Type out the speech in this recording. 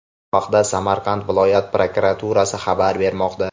Bu haqda Samarqand viloyat prokuraturasi xabar bermoqda.